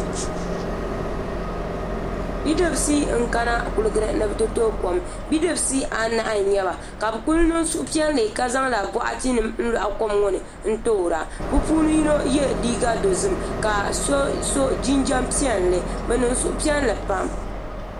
Bidibsi n kana kuligi ni ni bi Ti tooi kom bidibsi anahi n nyɛba ka bi ku niŋla suhupiɛlli ka zaŋla bokati nim n loɣi kom ŋo ni n toora bi puuni yino yɛ liiga dozim ka so so jinjɛm piɛlli bi niŋ suhupiɛlli pam